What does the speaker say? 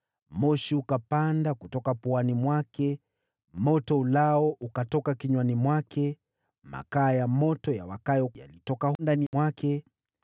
Moshi ukapanda kutoka puani mwake, moto uteketezao ukatoka kinywani mwake, makaa ya moto yawakayo yakatoka ndani mwake.